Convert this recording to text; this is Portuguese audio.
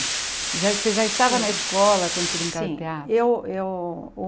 Já você já estava na escola quando você brincava Sim De teatro? Eu eu